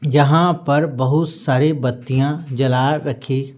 जहां पर बहुत सारी बत्तियां जला रखी--